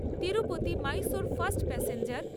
Tirupati Mysore fast প্যাসেঞ্জের